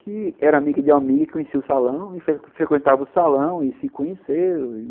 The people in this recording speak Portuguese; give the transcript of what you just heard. Que era amiga de amiga, que conhecia o salão, frequentava o salão e se conheceu.